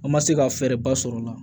An ma se ka fɛɛrɛba sɔrɔ o la